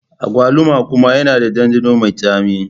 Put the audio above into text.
Agwaluma kuma yana da ɗanɗano mai tsami.